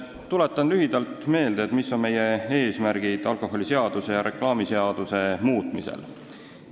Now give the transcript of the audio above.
Tuletan lühidalt meelde, mis on meie eesmärgid alkoholiseaduse ja reklaamiseaduse muutmisel.